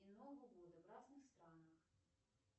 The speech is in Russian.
и нового года в разных странах